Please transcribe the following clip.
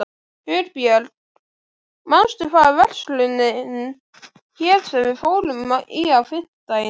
Hugbjörg, manstu hvað verslunin hét sem við fórum í á fimmtudaginn?